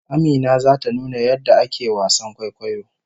Amina zata nuna yadda ake wasan kwaikwayo